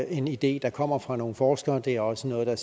en idé der kommer fra nogle forskere det er også noget der